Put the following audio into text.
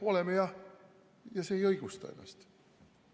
Oleme jah ja see ei õigusta ennast.